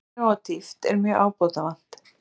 Skilvirkni og dýpt er mjög ábótavant